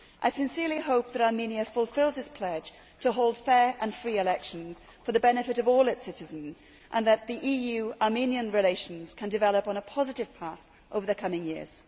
I sincerely hope that Armenia fulfils its pledge to hold free and fair elections for the benefit of all its citizens and that EU Armenian relations can develop on a positive path over the coming years.